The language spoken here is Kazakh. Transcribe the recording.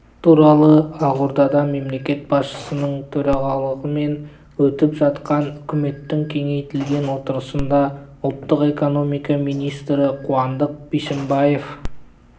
туралы ақордада мемлекет басшысының төрағалығымен өтіп жатқан үкіметтің кеңейтілген отырысында ұлттық экономика министрі қуандық бишімбаев